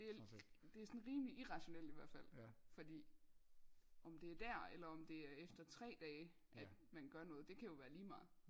Det er sådan rimelig irrationelt ihvertfald fordi om det er der eller om det er efter tre dage at man gør noget det kan jo være lige meget